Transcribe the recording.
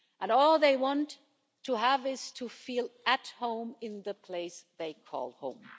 And all they want is to feel at home in the place they call home.